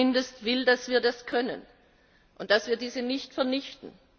Ich zumindest will, dass wir das können und dass wir diese nicht vernichten.